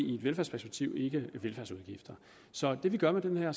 i et velfærdsperspektiv ikke velfærdsudgifter så det vi gør med den her